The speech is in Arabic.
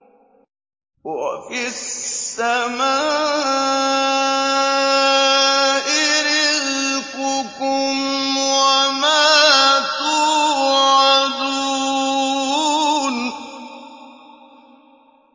وَفِي السَّمَاءِ رِزْقُكُمْ وَمَا تُوعَدُونَ